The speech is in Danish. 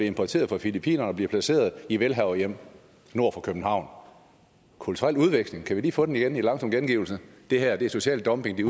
importeret fra filippinerne og bliver placeret i velhaverhjem nord for københavn kulturel udveksling kan vi lige få den igen i langsom gengivelse det her er social dumping det